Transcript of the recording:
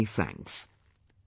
Many many thanks